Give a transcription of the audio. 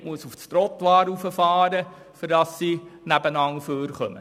Der eine muss auf das Trottoir fahren, damit beide aneinander vorbeikommen.